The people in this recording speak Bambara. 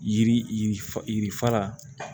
Yiri yiri fa yiri fa la